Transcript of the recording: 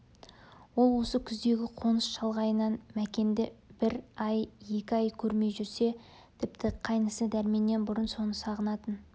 ол осы күздегідей қоныс шалғайлығынан мәкенді бір ай екі ай көрмей жүрсе тіпті қайнысы дәрменнен бұрын соны сағынатын